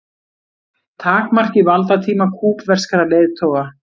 Takmarki valdatíma kúbverskra leiðtoga